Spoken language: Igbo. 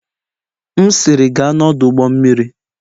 M'siri, gaa n'ọdụ ụgbọ mmiri!